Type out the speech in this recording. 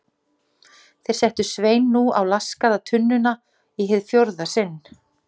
Þeir settu Svein nú á laskaða tunnuna í hið fjórða sinn.